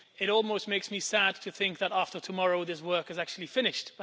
It almost makes me sad to think that, after tomorrow, this work will actually be finished.